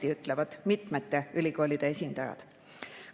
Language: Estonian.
Nii ütlevad mitmete ülikoolide esindajad.